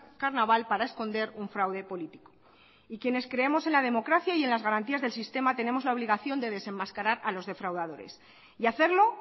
carnaval para esconder un fraude político y quienes creamos en la democracia y en las garantías del sistema tenemos la obligación de desenmascarar a los defraudadores y hacerlo